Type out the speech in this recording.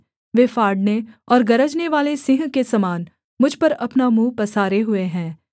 वे फाड़ने और गरजनेवाले सिंह के समान मुझ पर अपना मुँह पसारे हुए है